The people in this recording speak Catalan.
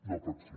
no pot ser